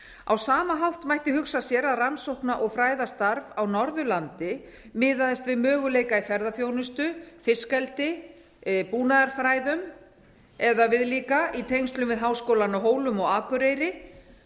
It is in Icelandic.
á sama hátt mætti hugsa sér að rannsókna og fræðastarf á norðurlandi miðaðist við möguleika í ferðaþjónustu fiskeldi búnaðarfræðum eða viðlíka í tengslum við háskólana á hólum og akureyri